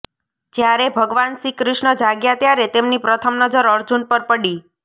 જ્યારે ભગવાન શ્રીકૃષ્ણ જાગ્યા ત્યારે તેમની પ્રથમ નજર અર્જુન પર પડી